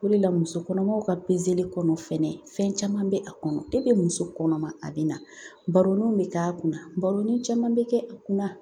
O de la musokɔnɔmaw ka kɔnɔ fɛnɛ fɛn caman bɛ a kɔnɔ muso kɔnɔma a bɛ na, baroni bɛ k'a kunna ,baro ni caman bɛ kɛ a kunna